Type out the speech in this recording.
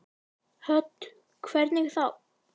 Hödd: Hvernig þá?